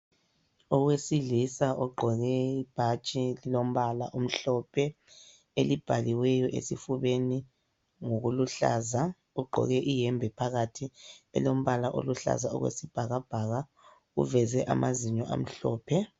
Owesilisa ogqoke ibhatshi elilombala omhlophe elibhaliweyo esifubeni ngokuluhlaza, ugqoke iyembe phakathi elombala oluhlaza okwesibhakabhaka uveze amazinyo amhlophe.